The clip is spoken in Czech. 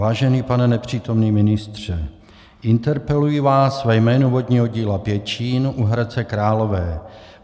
Vážený pane nepřítomný ministře, interpeluji vás ve jménu vodního díla Pěčín u Hradce Králové.